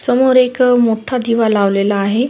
समोर एक मोठा दिवा लावलेला आहे.